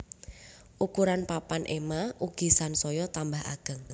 Ukuran papan ema ugi sansaya tambah ageng